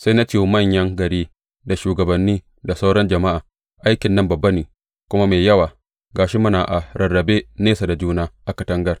Sai na ce wa manyan gari, da shugabanni, da sauran jama’a, Aikin nan babba ne kuma mai yawa, ga shi muna a rarrabe nesa da juna a katangar.